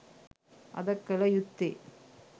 අද කළ යුත්තේ